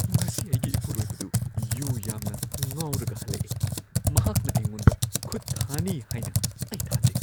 ꯉꯁꯤ ꯑꯩꯒꯤ ꯏꯄꯨꯔꯣꯏꯕꯗꯨ ꯌꯨ ꯌꯥꯝꯅ ꯉꯥꯎꯔꯒ ꯍꯜꯂꯛꯑꯦ꯫ ꯃꯍꯥꯛꯅ ꯑꯩꯉꯣꯟꯗ ꯈꯨꯠ ꯊꯥꯅꯤ ꯍꯥꯏꯅ ꯑꯩ ꯊꯥꯖꯩ꯫